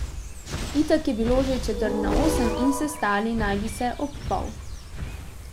Itak je bilo že četrt na osem in sestali naj bi se ob pol.